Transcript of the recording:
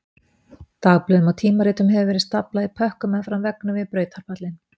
Dagblöðum og tímaritum hefur verið staflað í pökkum meðfram veggnum við brautarpallinn